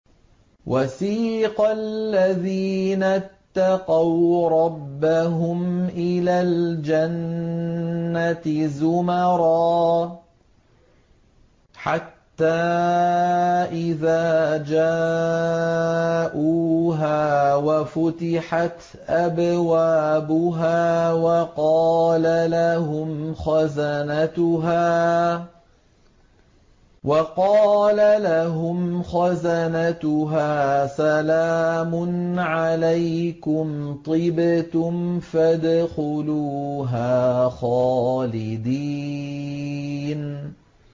وَسِيقَ الَّذِينَ اتَّقَوْا رَبَّهُمْ إِلَى الْجَنَّةِ زُمَرًا ۖ حَتَّىٰ إِذَا جَاءُوهَا وَفُتِحَتْ أَبْوَابُهَا وَقَالَ لَهُمْ خَزَنَتُهَا سَلَامٌ عَلَيْكُمْ طِبْتُمْ فَادْخُلُوهَا خَالِدِينَ